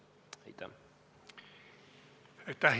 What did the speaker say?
Aitäh!